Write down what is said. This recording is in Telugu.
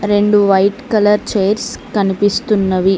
రెండు వైట్ కలర్ చైర్స్ కనిపిస్తున్నవి.